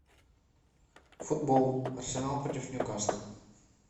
футбол арсенал против ньюкасла